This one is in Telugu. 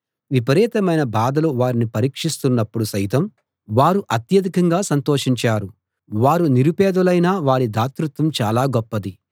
విపరీతమైన బాధలు వారిని పరీక్షిస్తున్నప్పుడు సైతం వారు అత్యధికంగా సంతోషించారు వారు నిరుపేదలైనా వారి దాతృత్వం చాలా గొప్పది